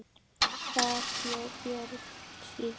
Þar bjó Björn síðan.